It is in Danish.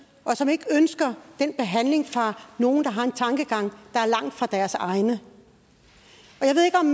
og som ikke ønsker den behandling af nogen der har en tankegang der er langt fra deres egen